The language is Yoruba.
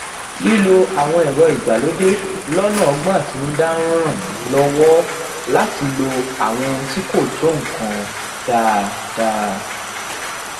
lilo àwọn èrọ ìgbàlódé lónà ógbón àtinúdá n ran mi lowo lati lo àwọn ohun tí kò tó nǹkan dáadáa